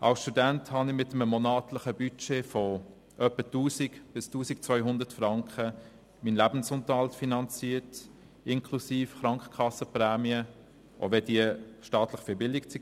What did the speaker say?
Als Student habe ich meinen Lebensunterhalt mit einem monatlichen Budget von etwa 1000–1200 Franken finanziert, inklusive Miete und Krankenkassenprämie, auch wenn diese staatlich verbilligt war.